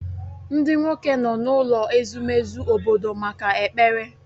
Ndị nwoke nọ n'ụlọ ezumezu obodo maka ekpere